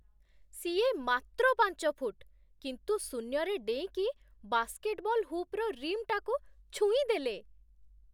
ସିଏ ମାତ୍ର ପାଞ୍ଚ ଫୁଟ୍, କିନ୍ତୁ ଶୂନ୍ୟରେ ଡେଇଁକି ବାସ୍କେଟ୍‌ବଲ୍ ହୁପ୍‌ର ରିମ୍‌ଟାକୁ ଛୁଇଁଦେଲେ!